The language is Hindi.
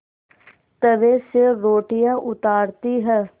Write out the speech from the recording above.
तवे से रोटियाँ उतारती हैं